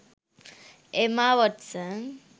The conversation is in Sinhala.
emma watson